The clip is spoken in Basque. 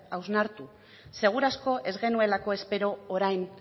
hausnartu seguraski ez genuelako espero orain